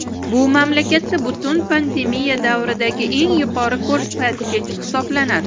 Bu mamlakatda butun pandemiya davridagi eng yuqori ko‘rsatkich hisoblanadi.